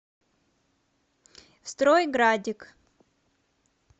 стройградик